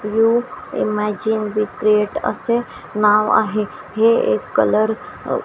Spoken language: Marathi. इमॅजिन वि क्रिएट असे नाव आहे हे एक कलर अ--